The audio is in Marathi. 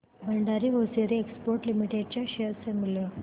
भंडारी होसिएरी एक्सपोर्ट्स लिमिटेड च्या शेअर चे मूल्य